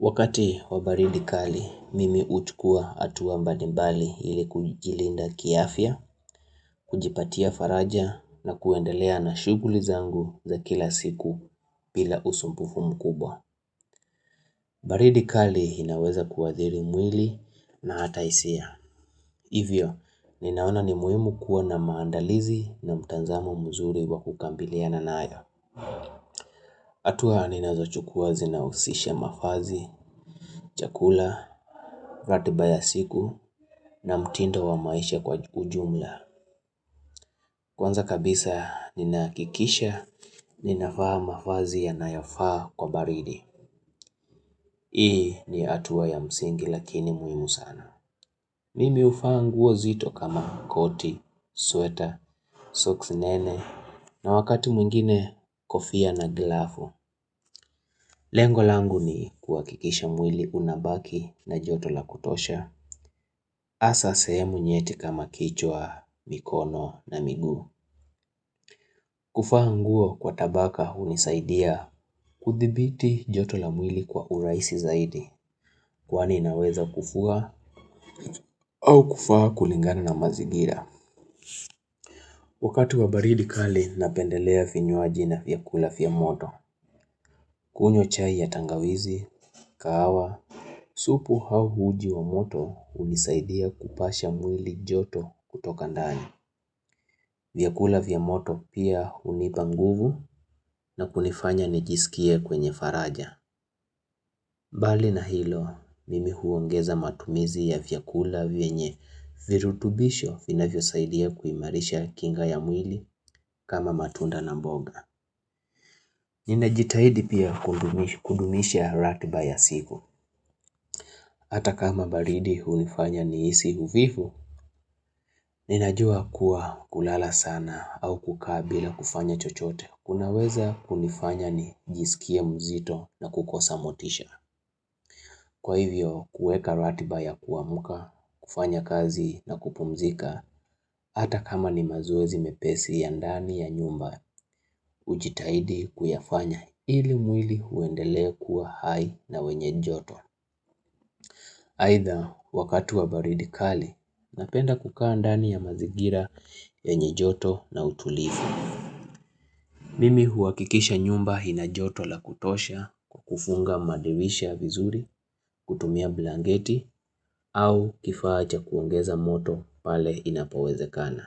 Wakati wa baridi kali, mimi huchukua hatua mbalimbali ili kujilinda kiafya, kujipatia faraja na kuendelea na shughuli zangu za kila siku bila usumbufu mkubwa. Baridi kali inaweza kuadhiri mwili na hata hisia. Hivyo, ninaona ni muhimu kuwa na maandalizi na mtazamo mzuri wa kukabiliana nayo. Hatua ninazo chukua zinahusisha mavazi, chakula, ratiba ya siku na mtindo wa maisha kwa ujumla Kwanza kabisa ninahakikisha, ninavaa mavazi yanayofaa kwa baridi Hii ni hatua ya msingi lakini muhimu sana Mimi huvaa nguo nzito kama coat, sweater, socks nene na wakati mwingine kofia na glove Lengo langu ni kuhakikisha mwili unabaki na joto la kutosha. Hasa sehemu nyeti kama kichwa, mikono na miguu. Kuvaa nguo kwa tabaka hunisaidia kudhibiti joto la mwili kwa urahisi zaidi. Kwani naweza kuvua au kuvaa kulingana na mazigira. Wakati wa baridi kali napendelea vinywaji na vyakula vya moto. Kunywa chai ya tangawizi, kahawa, supu au uji wa moto hunisaidia kupasha mwili joto kutoka ndani. Vyakula vya moto pia hunipa nguvu na kunifanya nijisikie kwenye faraja. Mbali na hilo, mimi huongeza matumizi ya vyakula vyenye virutubisho vinavyo saidia kuimarisha kinga ya mwili kama matunda na mboga. Ninajitahidi pia kudumisha ratiba ya siku. Hata kama baridi hunifanya nihisi uvivu, ninajua kuwa kulala sana au kukaa bila kufanya chochote. Kunaweza kunifanya nijisikie mzito na kukosa motisha. Kwa hivyo, kuweka ratiba ya kuamka, kufanya kazi na kupumzika, hata kama ni mazoezi mepesi ya ndani ya nyumba, hujitahidi kuyafanya ili mwili uendelee kuwa hai na wenye joto. Aidha, wakati wa baridi kali, napenda kukaa ndani ya mazingira yenye joto na utulivu. Mimi huhakikisha nyumba ina joto la kutosha kwa kufunga madirisha vizuri, kutumia blanket au kifaa cha kuongeza moto pale inapo wezekana.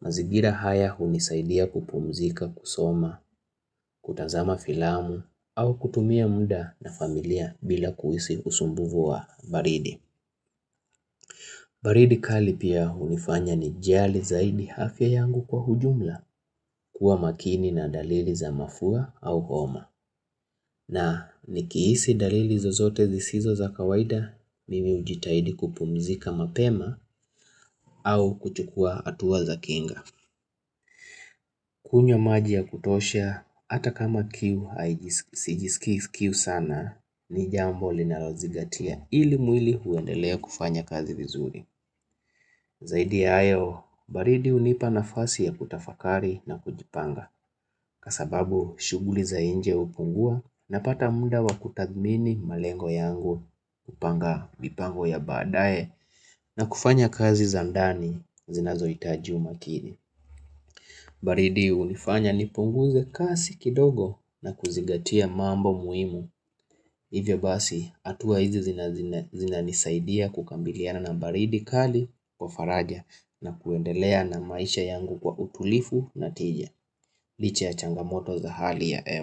Mazingira haya hunisaidia kupumzika kusoma, kutazama filamu au kutumia muda na familia bila kuhisi usumbufu wa baridi. Baridi kali pia hunifanya ni jali zaidi afya yangu kwa ujumla kuwa makini na dalili za mafua au homa. Na nikihisi dalili zozote zisizo za kawaida, mimi hujitahidi kupumzika mapema au kuchukua hatua za kinga. Kunywa maji ya kutosha, hata kama kiu haiji sijisikii kiu sana, ni jambo linalozingatia ili mwili uendelee kufanya kazi vizuri. Zaidi ya hayo, baridi hunipa nafasi ya kutafakari na kujipanga kwa sababu shughuli za nje hupungua napata muda wa kutathmini malengo yangu kupanga mipango ya baadae na kufanya kazi za ndani zinazo hitaji umakini. Baridi hunifanya nipunguze kasi kidogo na kuzingatia mambo muhimu, hivyo basi hatua hizi zinanisaidia kukabiliana na baridi kali kwa faraja na kuendelea na maisha yangu kwa utulivu na tija. Licha ya changamoto za hali ya hewa.